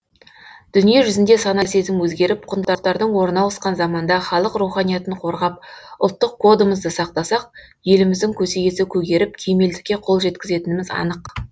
дүние жүзінде сана сезім өзгеріп құндылықтар орны ауысқан заманда халық руханиятын қорғап ұлттық кодымызды сақтасақ еліміздің көсегесі көгеріп кемелдікке қол жеткізетініміз анық